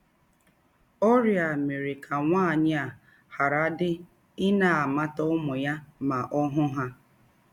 Ọrịa a mere ka nwaanyị a gharadị ịna - amata ụmụ ya ma ọ hụ ha.